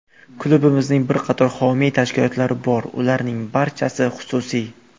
Klubimizning bir qator homiy tashkilotlari bor, ularning barchasi xususiy.